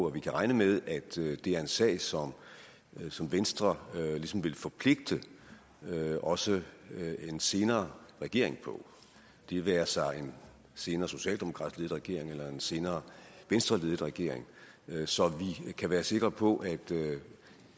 at vi kan regne med at det er en sag sag som venstre ligesom vil forpligte også en senere regering på det være sig en senere socialdemokratisk ledet regering eller en senere venstreledet regering så vi kan være sikre på at